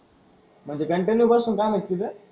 म्हणजे कंटिन्यू बसून काम आहे का तिथं?